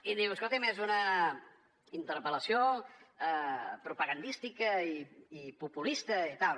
i diu escolti’m és un interpel·lació propagandística i populista i tal